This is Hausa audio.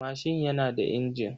Mashin yana da injin.